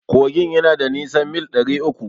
Kogin yana da nisan mil ɗari uku.